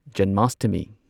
ꯖꯅꯃꯥꯁꯇꯃꯤ